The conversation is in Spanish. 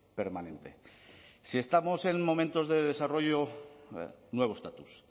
permanente si estamos en momentos de desarrollo nuevo estatus